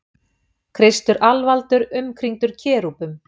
Kristur alvaldur umkringdur kerúbum.